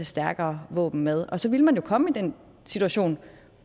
stærkere våben med og så ville man jo komme i den situation